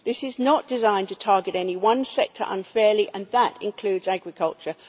This is not designed to target any one sector unfairly, and that includes agriculture.